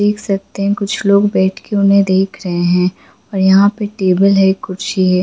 देख सकते है कुछ लोग बैठ के उन्हे देख रहे है और यहाँ पे टेबल है कुर्सी है।